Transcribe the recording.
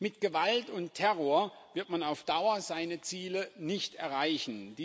Mit Gewalt und Terror wird man auf Dauer seine Ziele nicht erreichen.